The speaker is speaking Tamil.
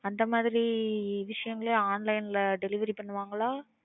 அந்தமாதிரி விஷயங்களையும் online ல delivery பண்ணுவாங்களா?